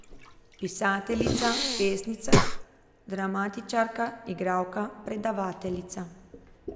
Pisateljica, pesnica, dramatičarka, igralka, predavateljica.